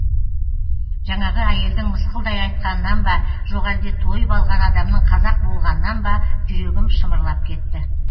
жаңағы әйелдің мысқылдай айтқанынан ба жоқ әлде тойып алған адамның қазақ болғанынан ба жүрегім шымырлап кетті